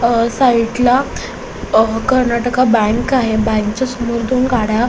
अ साइडला अ कर्नाटका बँक आहे बँकच्या समोर दोन गाड्या --